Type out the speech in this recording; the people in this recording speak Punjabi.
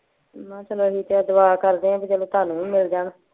ਮੈਂ ਕਿਹ ਚਲੋ ਅਸੀਂ ਤੇ ਦੁਆ ਕਰਦੇ ਆ ਬੀ ਚਲੋ ਤੁਹਾਨੂੰ ਵੀ ਮਿਲ ਜਾਣ।